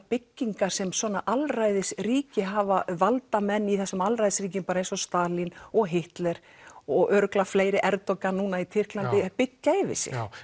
byggingar sem svona alræðisríki hafa valdamenn í þessum alræðisríkjum bara eins og Stalín og Hitler og örugglega fleiri Erdogan núna í Tyrklandi byggja yfir sig já